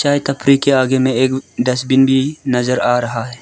चाय टपरी के आगे में एक डस्टबिन भी नजर आ रहा है।